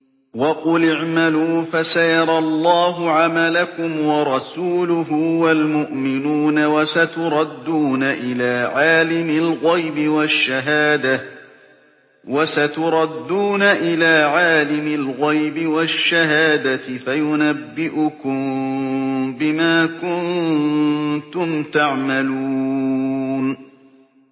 وَقُلِ اعْمَلُوا فَسَيَرَى اللَّهُ عَمَلَكُمْ وَرَسُولُهُ وَالْمُؤْمِنُونَ ۖ وَسَتُرَدُّونَ إِلَىٰ عَالِمِ الْغَيْبِ وَالشَّهَادَةِ فَيُنَبِّئُكُم بِمَا كُنتُمْ تَعْمَلُونَ